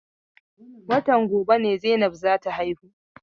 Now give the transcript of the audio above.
Watan gobe ne Zainab za ta haihu.